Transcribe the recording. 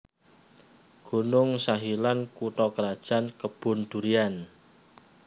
Gunung Sahilan kutha krajan Kebun Durian